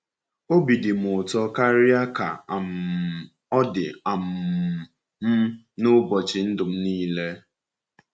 Obi dị m ụtọ karịa ka um ọ dị um m n’ụbọchị ndụ m niile.